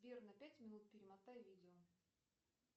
сбер на пять минут перемотай видео